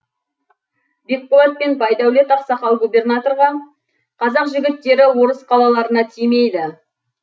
бекболат пен байдәулет ақсақал губернаторға қазақ жігіттері орыс қалаларына тимейді